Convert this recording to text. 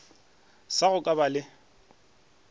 sa go ka ba le